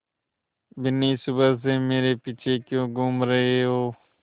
बिन्नी सुबह से मेरे पीछे क्यों घूम रहे हो